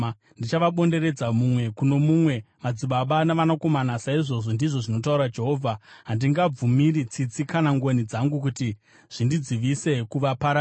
Ndichavabonderedza mumwe kuno mumwe, madzibaba navanakomana saizvozvo, ndizvo zvinotaura Jehovha. Handingabvumiri tsitsi kana ngoni dzangu kuti zvindidzivise kuvaparadza.’ ”